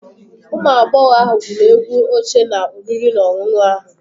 Ụmụ agbọghọ ahụ gwụrụ egwu oche na oriri na ọṅụṅụ ahụ.